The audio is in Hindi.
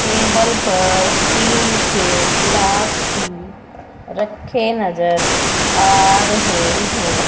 टेबल पर स्टील के ग्लास भी रखे नजर आ रहे हैं।